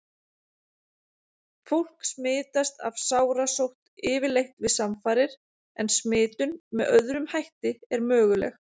Fólk smitast af sárasótt yfirleitt við samfarir en smitun með öðrum hætti er möguleg.